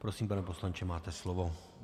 Prosím, pane poslanče, máte slovo.